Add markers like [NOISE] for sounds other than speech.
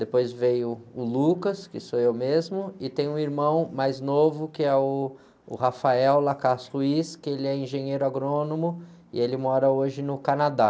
depois veio o, [UNINTELLIGIBLE] que sou eu mesmo, e tem um irmão mais novo, que é uh, o, [UNINTELLIGIBLE] que ele é engenheiro agrônomo e ele mora hoje no Canadá.